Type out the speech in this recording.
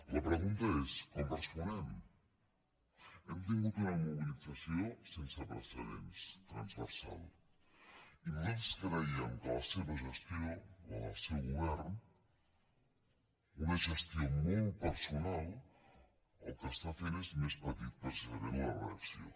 la pregunta és com responem hem tingut una mobilització sense precedents transversal i nosaltres creiem que la seva gestió la del seu govern una gestió molt personal el que està fent és més petita precisament la reacció